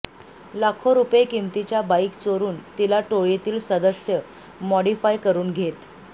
लाखो रुपये किमतीच्या बाईक चोरुन तिला टोळीतील सदस्य मॉडिफाय करुन घेत